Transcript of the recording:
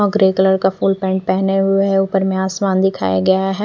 अ grey colour का full pant पेहने हुए है उपर में आसमान दिखाया गया है।